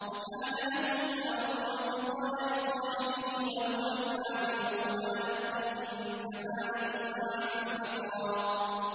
وَكَانَ لَهُ ثَمَرٌ فَقَالَ لِصَاحِبِهِ وَهُوَ يُحَاوِرُهُ أَنَا أَكْثَرُ مِنكَ مَالًا وَأَعَزُّ نَفَرًا